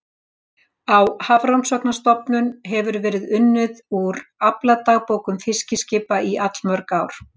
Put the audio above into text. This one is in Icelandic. Á Hafrannsóknastofnun hefur verið unnið úr afladagbókum fiskiskipa í allmörg ár.